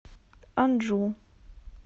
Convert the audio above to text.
анджу